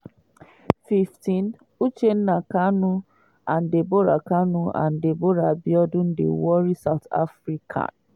15' uchenna kanu and deborah kanu and deborah abiodun dey worry south africa.